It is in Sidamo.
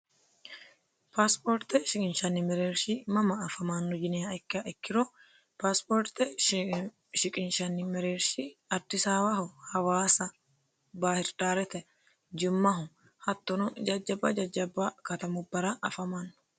Paasipoorte shiqinshanni mereerishi mama afamanno yiniro A.A, Hawaasa, Bahiridaarete, jimmaho hattono babbaxino jajjaba katamubbara afamanno.